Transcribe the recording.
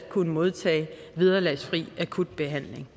kunne modtage vederlagsfri akutbehandling